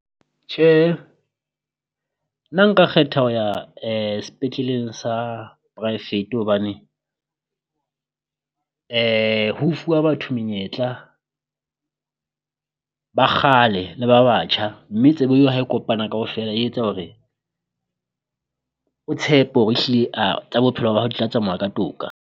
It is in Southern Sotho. Tjhe nna nka kgetha ho ya sepetleleng sa poraefete hobane ho fuwa batho menyetla ba kgale le ba batjha, mme tsebo eo ha e kopana kaofela e etsa hore o tshepe hore ehlile tsa bophelo ba hao di tla tsamaya ka toka.